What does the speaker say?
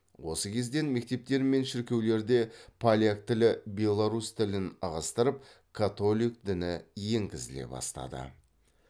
осы кезден мектептер мен шіркеулерде поляк тілі беларусь тілін ығыстырып котолик діні енгізіле бастады